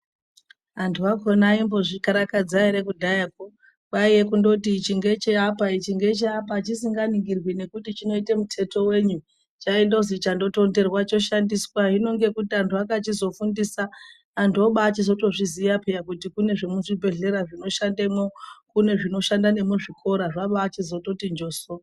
Vantu vakhona vaimbozvikarakadza ere kudhayako kwaiva kungoti ichi ngecheapa ingecheapa pachisinganingirwi kuti dzinoita mutete wei chaingoti chatonderwa choshandiswa hino nekuti vantu vakazofundiswa vantu vochobachiziva peya kuti kune zvemuchibhehleya zvinoshandemo kune zvinoshanda nemuchikora zvabati njoso.